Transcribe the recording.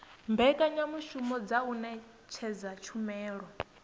mbekanyamushumo dza u ṅetshedza tshumelo